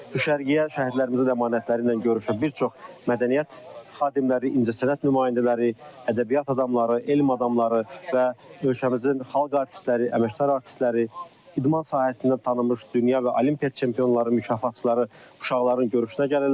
Düşərgəyə şəhidlərimizin də əmanətləri ilə görüşməyə bir çox mədəniyyət xadimləri, incəsənət nümayəndələri, ədəbiyyat adamları, elm adamları və ölkəmizin xalq artistləri, əməkdar artistləri, idman sahəsində tanınmış dünya və Olimpiya çempionları, mükafatçıları uşaqların görüşünə gəlirlər.